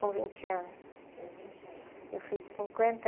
com vinte anos. Com vinte anos. Eu fiz cinquenta